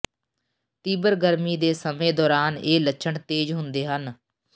ਤੀਬਰ ਗਰਮੀ ਦੇ ਸਮੇਂ ਦੌਰਾਨ ਇਹ ਲੱਛਣ ਤੇਜ਼ ਹੁੰਦੇ ਹਨ